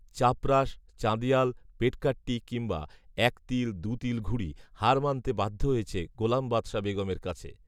চাপরাশ, চাঁদিয়াল, পেটকাট্টি কিংবা, একতিল দুতিল ঘুড়ি, হার মানতে বাধ্য হয়েছে গোলাম বাদশা বেগমের কাছে